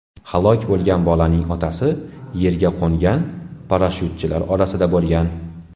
Halok bo‘lgan bolaning otasi yerga qo‘ngan parashyutchilar orasida bo‘lgan.